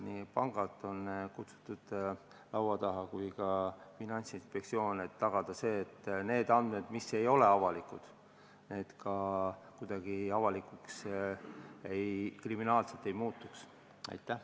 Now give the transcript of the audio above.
Laua taha on kutsutud nii pangad kui ka Finantsinspektsioon, et tagada see, et need andmed, mis ei ole avalikud, ka kuidagi kriminaalselt avalikuks ei saaks.